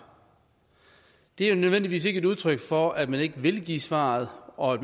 er ikke nødvendigvis et udtryk for at man ikke vil give svaret og